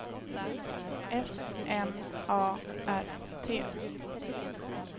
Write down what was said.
S M A R T